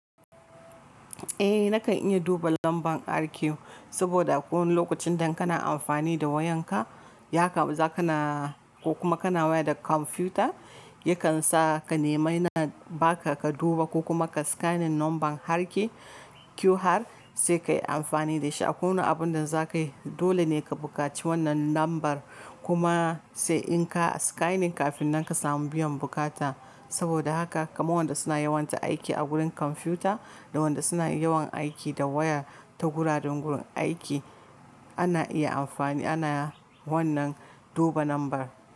Eh nakan iya duba lambar RQ saboda a kowane lokacin da in kana amfani da wayanka, ya kam za ka na ko kuma kana waya da kwamfuta, yakan sa ka nemai na ba ka ka duba ko kuma ka scanning nomban harke QR sai ka yi amfani da shi. A kowane abun da za ka yi dole ne ka buƙaci wannan nombar kuma a kowane abun da za ka yi dole ne ka buƙaci wannan nombar kuma saboda haka kaman wanda suna yawan ta aiki a wurin kwamfuta da wanda suna yawan aiki da waya ta guraren gurin aiki ana iya amfani ana wannan duba nombar.